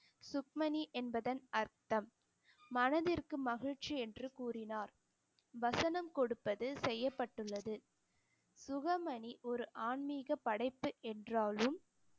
சுக்மணி என்பதன் அர்த்தம் மனதிற்கு மகிழ்ச்சி என்று கூறினார் வசனம் கொடுப்பது செய்யப்பட்டுள்ளது சுகமணி ஒரு ஆன்மீக படைப்பு என்றாலும்